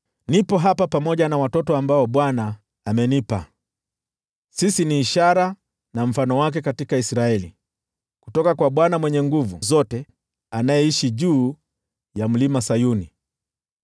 Niko hapa, pamoja na watoto ambao Bwana amenipa. Sisi ni ishara na mfano wake katika Israeli, kutoka kwa Bwana Mwenye Nguvu Zote, anayeishi juu ya Mlima Sayuni.